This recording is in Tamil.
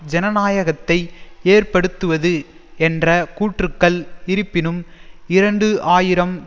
ஜனநாயகத்தை ஏற்படுத்துவது என்ற கூற்றுக்கள் இருப்பினும் இரண்டு ஆயிரம்